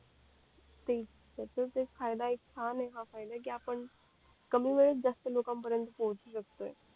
तेच त्याचंच एक फायदा कि छान आहे हा फायदा कि आपण कमी वेळेत जास्त लोकांन परेंत पोहोचू शकतोय